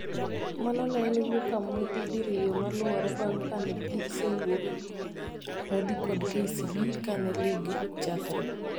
mano ne en wuoka amodhi diriyo maluore bang kane gi sewuok amodhi kod KCB kane lig chakre